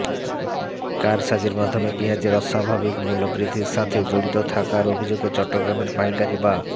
কারসাজির মাধ্যমে পেঁয়াজের অস্বাভাবিক মূল্য বৃদ্ধির সাথে জড়িত থাকার অভিযোগে চট্টগ্রামের পাইকারী বা